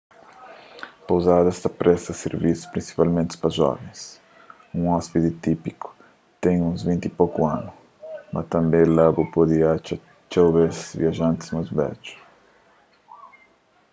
pouzadas ta presta sirvisus prinsipalmenti pa jovens un ôspidi típiku ten uns vinti y poku anus mas tanbê la bu pode atxa txeu bês viajantis más bedju